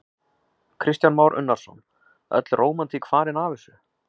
Kristján Már Unnarsson: Öll rómantík farin af þessu?